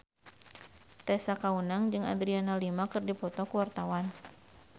Tessa Kaunang jeung Adriana Lima keur dipoto ku wartawan